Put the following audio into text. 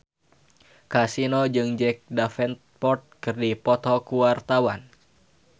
Kasino jeung Jack Davenport keur dipoto ku wartawan